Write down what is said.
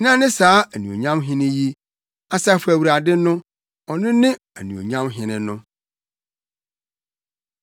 Hena ne saa anuonyam Hene yi? Asafo Awurade no, ɔno ne anuonyam Hene no.